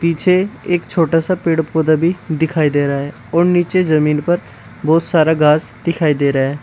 पीछे एक छोटा सा पेड़ पौधे भी दिखाई दे रहा है और नीचे जमीन पर बहुत सारा घास दिखाई दे रहा है।